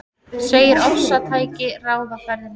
Segir ofstæki ráða ferðinni